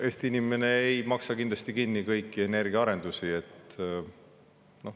Eesti inimene ei maksa kindlasti kinni kõiki energiaarendusi.